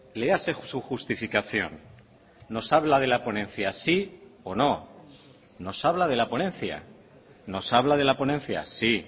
léase su justificación nos habla de la ponencia sí o no nos habla de la ponencia nos habla de la ponencia sí